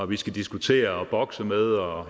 vi skal diskutere og bokse med og